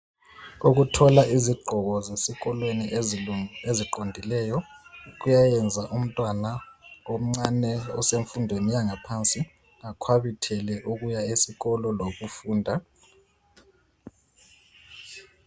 Ukuthola izigqoko zesikolweni ezilungi.....eziqondileyo, kuyayenza umntwana omncane, osemfundweni yangaphansi, akhwabithele ukuya esikolo, lokufunda.